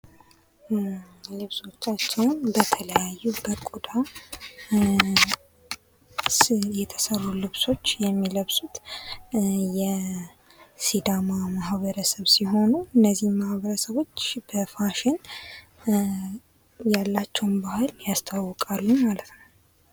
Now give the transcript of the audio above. ከተለያየ ቆዳ የሚሰሩ ልብሶችን የሚለብሱ የሲዳማ ማህበረሰብ ሲሆኑ እነዚህ ማህበረሰቦች በፋሽን ያላቸውን ባህል ያስተዋውቃሉ።